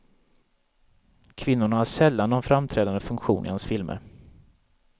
Kvinnorna har sällan någon framträdande funktion i hans filmer.